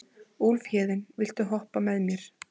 Úlfhéðinn, viltu hoppa með mér?